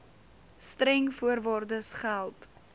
streng voorwaardes geld